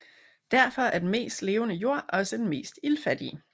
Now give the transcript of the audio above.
Derfor er den mest levende jord også den mest iltfattige